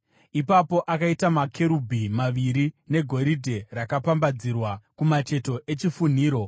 Ipapo akaita makerubhi maviri negoridhe rakapambadzirwa kumacheto echifunhiro.